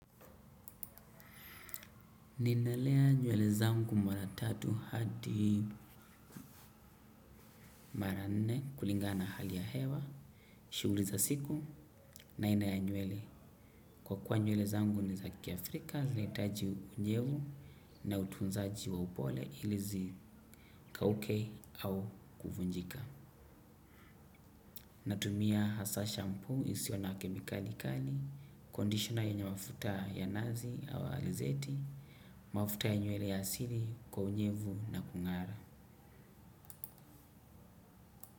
Ninalea nywele zangu mara tatu hadi mara nne kulingana na hali ya hewa, shughuli za siku na aina ya nywele. Kwa kuwa nywele zangu ni zakiafrika, zinahitaji unyevu na utunzaji wa upole ili zisikauke au kuvunjika. Natumia hasa shampoo isiyo na kemikali kali, conditioner yenye mafuta ya nazi au alizeti, mafuta ya nywele ya asili kwa unyevu na kungara.